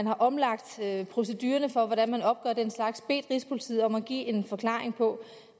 har omlagt procedurerne for hvordan man opgør den slags bedt rigspolitiet om at give en forklaring på